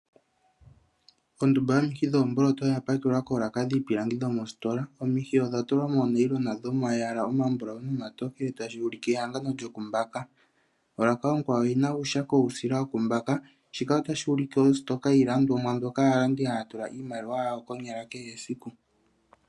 Ondumba yomihi dhoomboloto oya pakelwa koolaka dhiipilangi yomositola, omihi odha tulwa moonayilona dhomayala omambulawu nomatokele tashi vulika ehangano lyoku mbaka, olaka onkwawo oyina uushako wuusila wokumbaka shika otashi ulike ositoka yiilandomwa mbyoka aalandi haya tula iimaliwa yawo konyala kehe esiku.